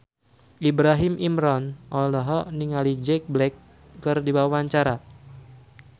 Ibrahim Imran olohok ningali Jack Black keur diwawancara